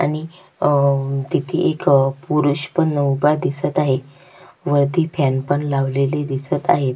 आणि अह तिथे एक पुरुष पण उभा दिसत आहे वरती फॅन पण लावलेली दिसत आहेत.